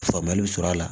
Faamuyali bɛ sɔrɔ a la